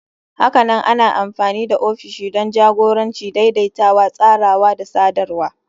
Hakanan ana amfani da ofishi don jagoranci, daidaitawa, tsarawa da sadarwa.